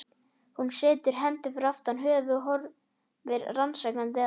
Hún setur hendur aftur fyrir höfuð og horfir rannsakandi á